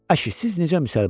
Ay, siz necə müsəlmansız?